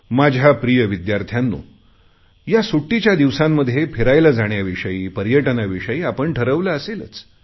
माझ्या प्रिय विद्यार्थ्यांनो या सुट्टीच्या दिवसांमध्ये फिरायला जाण्याविषयी पर्यटनाविषयी आपण ठरवले असेलच